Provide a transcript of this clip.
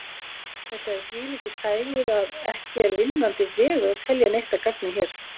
Þetta er þvílíkur sægur að ekki er vinnandi vegur að telja neitt að gagni hér.